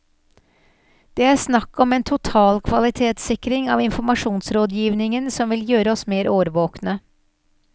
Det er snakk om en total kvalitetssikring av informasjonsrådgivingen som vil gjøre oss mer årvåkne.